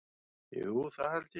Jú, það held ég